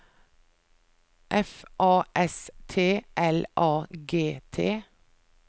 F A S T L A G T